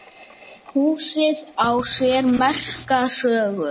Húsið á sér merka sögu.